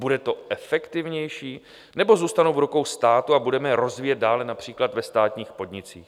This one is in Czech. Bude to efektivnější, nebo zůstanou v rukou státu a budeme je rozvíjet dále například ve státních podnicích?